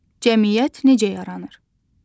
Cəmiyyət necə yaranır?